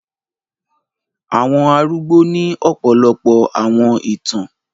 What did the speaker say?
Àwọn àrugbò ni ọ̀pọlọpọ̀ àwọn ìtan